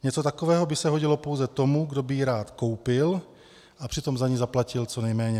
Něco takového by se hodilo pouze tomu, kdo by ji rád koupil a přitom za ni zaplatil co nejméně.